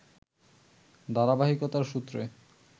ধারাবাহিকতার সূত্রে